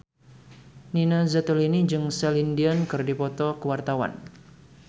Nina Zatulini jeung Celine Dion keur dipoto ku wartawan